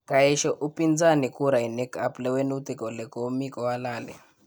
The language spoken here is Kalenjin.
Kaesha upinzani kurainik ap lewenutik kole komikohalali